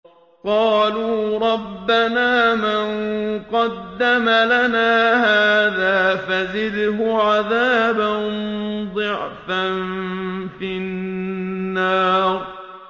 قَالُوا رَبَّنَا مَن قَدَّمَ لَنَا هَٰذَا فَزِدْهُ عَذَابًا ضِعْفًا فِي النَّارِ